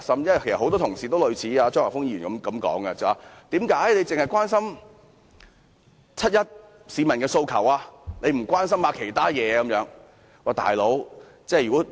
其實，很多同事都有類似張議員的說法，質疑為何我只關心七一遊行市民的訴求而不關心其他事情。